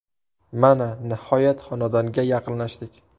Mana, nihoyat xonadonga yaqinlashdik.